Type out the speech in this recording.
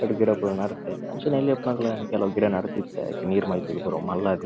ರಡ್ ಗಿಡ ಪುರ ನಡತೆ ಅಂಚೆನೆ ಎಲ್ಯ ಉಪ್ಪುನಗ ಯಾನ್ ಕೆಲವು ಗಿಡ ನಡ್ದಿತ್ತೆ ಐಕ್ ನೀರ್ ಮೈತ್ದ್ ಪೂರ ಅವ್ ಮಲ್ಲ ಆದಿತ್ನ್ದ .